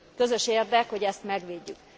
Közös érdek, hogy ezt megvédjük.